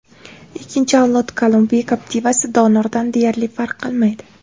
Ikkinchi avlod Kolumbiya Captiva’si donordan deyarli farq qilmaydi.